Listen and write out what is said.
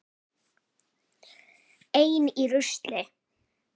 Ein í rusli.